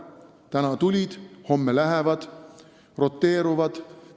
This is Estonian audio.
Täna tulid, homme lähevad – nad roteeruvad.